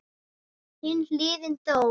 Hin hliðin dó.